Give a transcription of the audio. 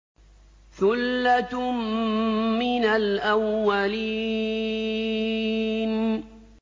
ثُلَّةٌ مِّنَ الْأَوَّلِينَ